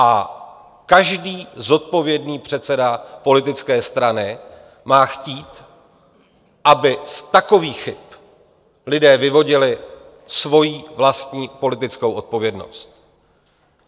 A každý zodpovědný předseda politické strany má chtít, aby z takových chyb lidé vyvodili svoji vlastní politickou odpovědnost.